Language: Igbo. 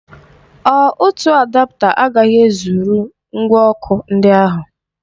Ọ otu adapta agaghị ezụrụ ngwa ọkụ ndị a?